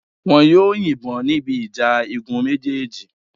Wọn yóò yìnbọn níbi ìjà igun méjèèjì